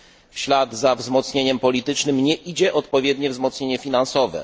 W ślad za wzmocnieniem politycznym nie idzie odpowiednie wzmocnienie finansowe.